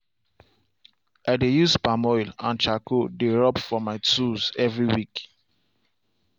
i dey use palm oil and charcoal dey rub for my tools every week.